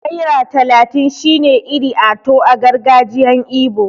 Naira talatin shine 'Iri ato' a gargajiyan ibo.